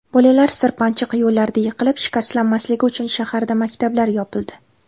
Bolalar sirpanchiq yo‘llarda yiqilib, shikastlanmasligi uchun shaharda maktablar yopildi.